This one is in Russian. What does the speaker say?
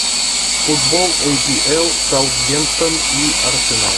футбол апл саутгемптон и арсенал